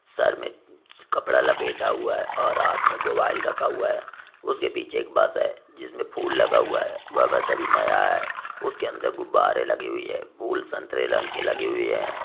Sir में कपड़ा लपेटा हुआ है और हाथ में मोबाईल रखा हुआ है उसके पीछे एक बस है जिसमे फूल लगा हुआ है वह बस अभी नया है उसके अंदर गुब्बारें लगी हुई है फूल संतरे रंग की लगी हुई है।